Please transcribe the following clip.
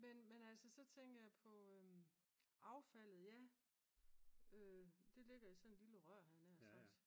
men altså så tænker jeg på affaldet ja det ligger i sådan et lille rør havde jeg nær sagt